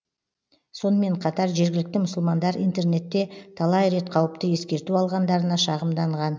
сонымен қатар жергілікті мұсылмандар интернетте талай рет қауіпті ескерту алғандарына шағымданған